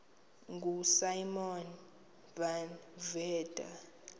ngosimon van der